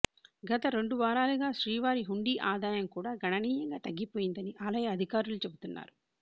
గత రెండు వారాలుగా శ్రీవారి హుండీ ఆదాయం కూడా గణనీయంగా తగ్గిపోయిందని ఆలయ అధికారులు చెబుతున్నారు